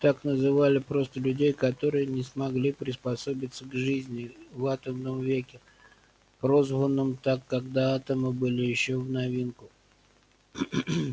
так называли просто людей которые не смогли приспособиться к жизни в атомном веке прозванном так когда атомы были ещё в новинку